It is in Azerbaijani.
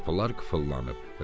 Bütün qapılar qıfıllanıb.